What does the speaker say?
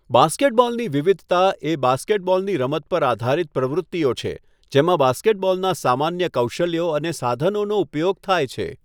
બાસ્કેટબોલની વિવિધતા એ બાસ્કેટબોલની રમત પર આધારિત પ્રવૃત્તિઓ છે, જેમાં બાસ્કેટબોલના સામાન્ય કૌશલ્યો અને સાધનોનો ઉપયોગ થાય છે.